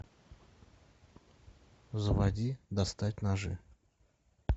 заводи достать ножи